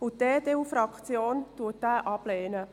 Die EDU-Fraktion lehnt diese Ziffer ab.